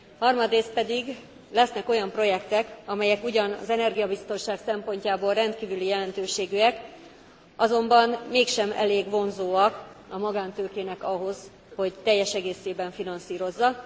Harmadrészt pedig lesznek olyan projektek, amelyek ugyan az energiabiztonság szempontjából rendkívüli jelentőségűek, azonban mégsem elég vonzóak a magántőkének ahhoz, hogy teljes egészében finanszírozza.